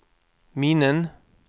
minnen